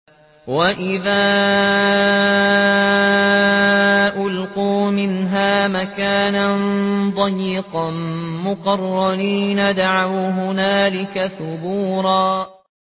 وَإِذَا أُلْقُوا مِنْهَا مَكَانًا ضَيِّقًا مُّقَرَّنِينَ دَعَوْا هُنَالِكَ ثُبُورًا